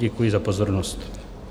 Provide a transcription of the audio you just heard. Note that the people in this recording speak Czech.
Děkuji za pozornost.